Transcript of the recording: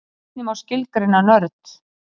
Hvernig má skilgreina nörd?